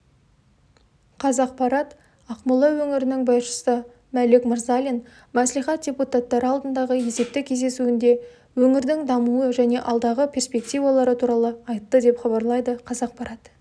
қазақпарат ақмола өңірінің басшысы мәлік мырзалин мәслихат депутаттары алдындағы есептік кездесуінде өңірдің дамуы және алдағы перспективалары туралы айтты деп хабарлайды қазақпарат